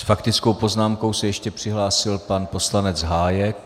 S faktickou poznámkou se ještě přihlásil pan poslanec Hájek.